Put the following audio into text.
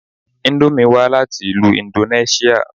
Íńdómì wá láti ìlú indonẹṣia